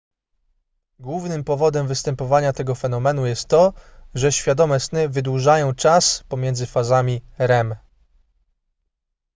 głównym powodem występowania tego fenomenu jest to że świadome sny wydłużają czas pomiędzy fazami rem